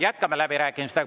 Jätkame läbirääkimisi.